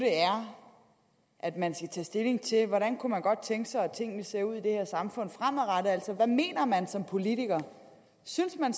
at man skal tage stilling til hvordan man godt kunne tænke sig at tingene ser ud i det her samfund fremadrettet altså hvad mener man så som politiker synes man